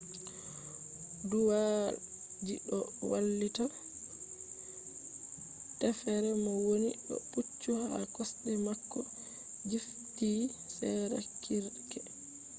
duuwalji doo wallita teffere mo wooni doo pucchu haa kosde maako jiffitii sera kirke